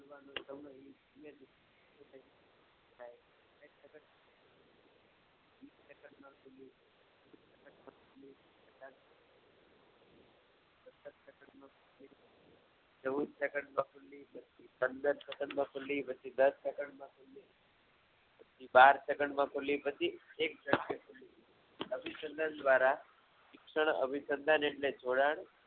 ચૌદ સેકંડમા પંદર સેકંડ મા ખૂલી પછી દસ સેકંડ મા બાર સેકંડ મા ખૂલીપછી એક અવિસદન દ્વારા ક્ષણ જોડાણ